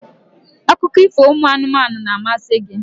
akụkọ ifo ụmụ anụmanụ na-amasị gị?